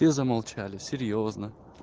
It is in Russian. все замолчали серьёзно